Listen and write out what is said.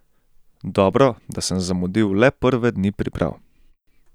Dobro, da sem zamudil le prve dni priprav.